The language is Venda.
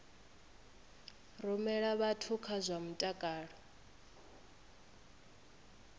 rumela vhathu kha zwa mutakalo